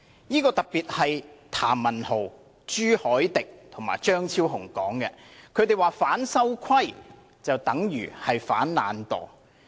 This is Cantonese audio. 提出這說法的譚文豪議員、朱凱廸議員和張超雄議員表示，"反修規"等於"反懶惰"。